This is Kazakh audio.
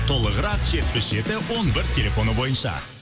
толығырақ жетпіс жеті он бір телефоны бойынша